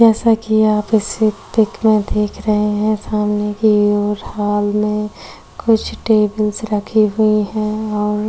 जैसा कि आप इस ई पिक में देख रहे हैं सामने की ओर हाल में कुछ टेबल्स रखे हुए हैं और --